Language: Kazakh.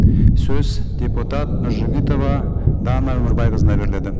сөз депутат нұржігітова дана өмірбайқызына беріледі